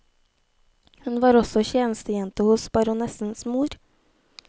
Hun var også tjenestejente hos baronessens mor.